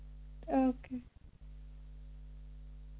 okay